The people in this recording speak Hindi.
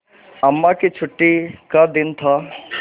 अम्मा की छुट्टी का दिन था